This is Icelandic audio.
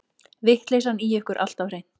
Vitleysan í ykkur alltaf hreint.